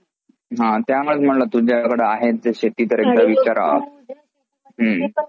हां त्यामुळंच तुझ्याकडं आहे जे शेती करण्याचा विचार हुं